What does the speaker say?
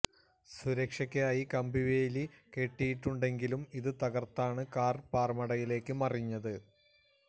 സുരക്ഷക്കായി കമ്പി വേലി കെട്ടിയിട്ടുണ്ടെങ്കിലും ഇത് തകര്ത്താണ് കാര് പാറമടയിലേക്ക് മറിഞ്ഞത്